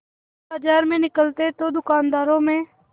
वह बाजार में निकलते तो दूकानदारों में